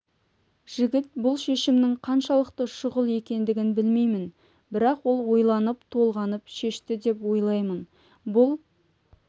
жігіт бұл шешімнің қаншалықты шұғыл екендігін білеймін бірақ ол ойланып толғанып шешті деп ойлаймын бұл